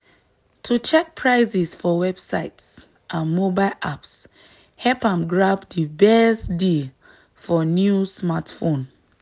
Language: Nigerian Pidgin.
to check prices for websites and mobile apps help am grab di best deal for new smartphone.